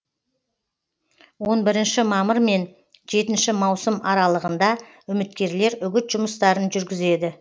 он бірінші мамыр мен жетінші маусым аралығында үміткерлер үгіт жұмыстарын жүргізеді